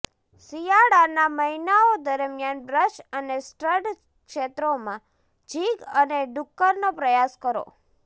શિયાળાનાં મહિનાઓ દરમિયાન બ્રશ અને સ્ટડ ક્ષેત્રોમાં જિગ અને ડુક્કરનો પ્રયાસ કરો